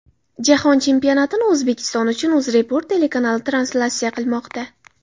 Jahon chempionatini O‘zbekiston uchun UzReport telekanali translyatsiya qilmoqda.